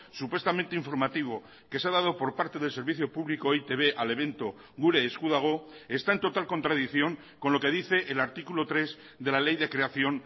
supuestamente informativo que se ha dado por parte del servicio público e i te be al evento gure esku dago está en total contradicción con lo que dice el artículo tres de la ley de creación